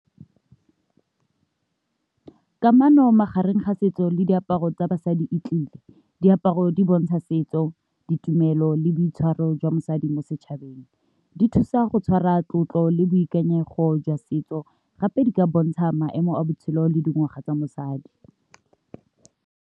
Kamano magareng ga setso le diaparo tsa basadi e tlile, diaparo di bontsha setso ditumelo le boitshwaro jwa mosadi mo setšhabeng di thusa go tshwara tlotlo le boikanyego jwa setso, gape di ka bontsha maemo a botshelo le dingwaga tsa mosadi.